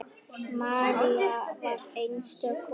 María var einstök kona.